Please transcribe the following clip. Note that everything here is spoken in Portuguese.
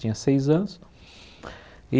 Tinha seis anos.